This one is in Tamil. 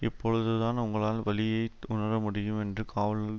இப்பொழுதுதான் உங்களால் வலியை உணர முடியும் என்று காவலர்கள்